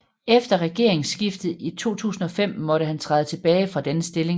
Efter regeringssskiftet i 2005 måtte han træde tilbage fra denne stilling